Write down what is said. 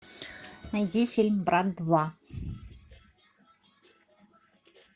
найди фильм брат два